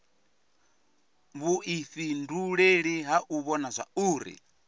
vhuifhinduleli ha u vhona zwauri